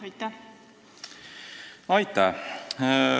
Aitäh!